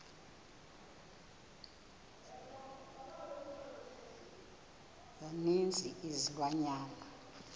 za ninzi izilwanyana